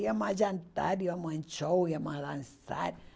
Íamos a jantar, íamos em show, íamos a dançar.